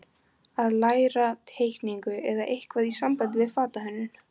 Að læra teikningu eða eitthvað í sambandi við fatahönnun.